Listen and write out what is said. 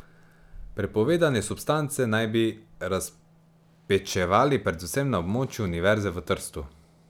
Prepovedane substance naj bi razpečevali predvsem na območju univerze v Trstu.